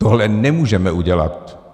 Tohle nemůžeme udělat.